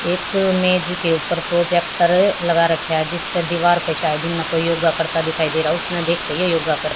एक मेज के ऊपर प्रोजेक्टर लगा रखा है जिससे दीवार पे शायद ही ना कोई योगा करता दिखाई दे रहा उसने देखे ये योगा कर--